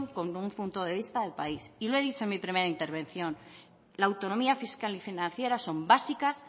con un punto de vista de país y lo he dicho en mi primera intervención la autonomía fiscal y financiera son básicas